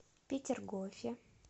петергофе